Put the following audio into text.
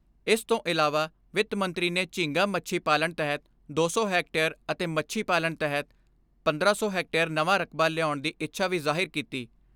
ਇਸ ਤੋਂ ਇਲਾਵਾ ਵਿੱਤ ਮੰਤਰੀ ਨੇ ਝੀਂਗਾ ਮੱਛੀ ਪਾਲਣ ਤਹਿਤ ਦੋ ਸੌ ਹੈਕਟੇਅਰ ਅਤੇ ਮੱਛੀ ਪਾਲਣ ਤਹਿਤ ਪੰਦਰਾਂ ਸੌ ਹੈਕਟੇਅਰ ਨਵਾਂ ਰਕਬਾ ਲਿਆਉਣ ਦੀ ਇੱਛਾ ਵੀ ਜ਼ਾਹਿਰ ਕੀਤੀ।